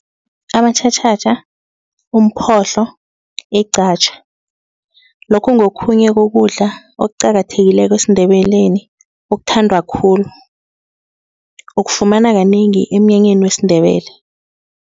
Amatjhatjhatjha, umphohlo, iqatjha. Lokhu ngokhunye kokudla okuqakathekileko esiNdebeleni okuthandwa khulu ukufumana kanengi emnyanyeni wesiNdebele.